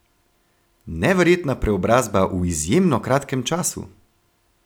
Neverjetna preobrazba v izjemno kratkem času!